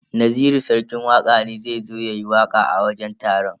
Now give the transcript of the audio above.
Naziru sarki waka ne zai zo yayi waka a wajen taron.